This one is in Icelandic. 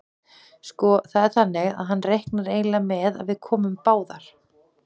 Sko. það er þannig að hann reiknar eiginlega með að við komum báðar.